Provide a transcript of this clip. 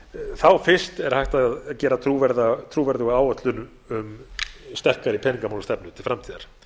þá fyrst er hægt að gera trúverðuga áætlun um sterkari peningamálastefnu til framtíðar